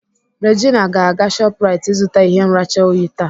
Regina ga-aga Shoprite ịzụta ihe nracha oyi taa.